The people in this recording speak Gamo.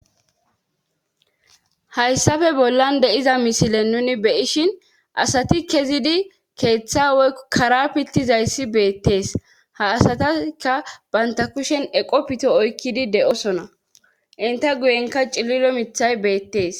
hayssafe bollan deiza misile nuni beyishin asati kezidi keeththa woy kara pittizayssi beettees ha asataka banta kushen eqo pito oykkidi de7osona inta guyenka cililo mithay beettees